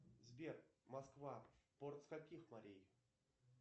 сбер москва порт с каких морей